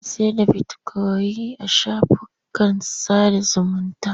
Ana sayar da bitikoyin a shafukan sada zumunta.